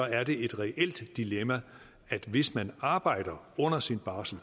er det et reelt dilemma at hvis man arbejder under sin barsel